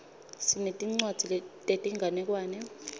sinetincwadzi tetinganekwane